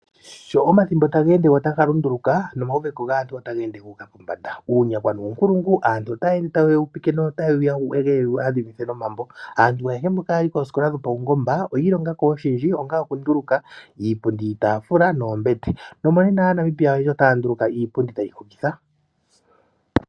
Sho omathimbo taga ende taga lunduluka nomauveko gaantu otaga ende gu uka pombanda. Uunyakwa nuunkulungu, aantu otaya ende taye wu upike notaye wu wege yewu adhimithe nomambo. Aantu ayehe mboka haya yi koosikola dhopaungomba oyi ilonga ko oshindji ngaashi okunduluka iipundi, iitaafula noombete. Nomonena Aanamibia oyendji otaya nduluka iipundi tayi hokitha.